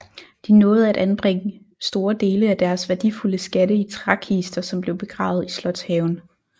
De nåede at anbringe store dele af deres værdifulde skatte i trækister som blev begravet i slotshaven